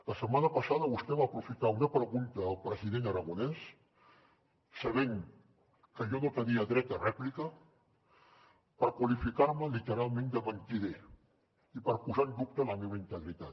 la setmana passada vostè va aprofitar una pregunta al president aragonès sabent que jo no tenia dret a rèplica per qualificar me literalment de mentider i per posar en dubte la meva integritat